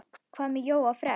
Hvað með Jóa fress?